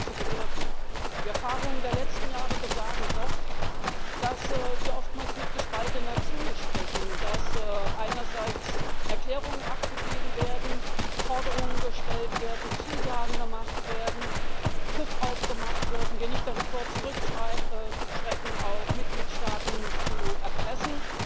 zu bewirken. Die Erfahrungen der letzten Jahre besagen doch, dass wir oftmals mit gespaltener Zunge sprechen, dass einerseits Erklärungen abgegeben werden, Forderungen gestellt werden, Zusagen gemacht werden, Druck aufgemacht wird, wir nicht davor zurückschrecken, auch Mitgliedstaaten zu erpressen,